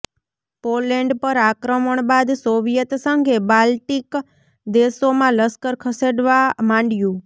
Poland પર આક્રમણ બાદ સોવિયેત સંઘે બાલ્ટિક દેશોમાં લશ્કર ખસેડવા માંડ્યુ